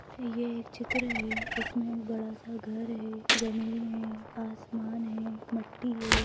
ये एक चित्र है इसमें एक बड़ा सा घर हैजमीन हैआसमान हैमट्टी है।